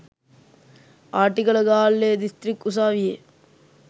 ආටිගල ගාල්ලේ දිස්ත්‍රික් උසාවියේ